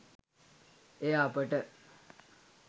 එය අපට